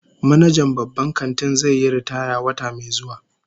Manajan babban kantin zai yi ritaya wata mai zuwa